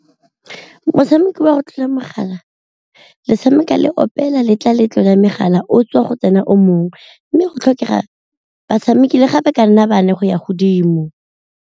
Motshameko wa go tlola mogala metshameko le opela letlametlo ya megala o tswa go tsena o mongwe, mme go tlhokega batshameki le fa ba ka nna bane go ya godimo.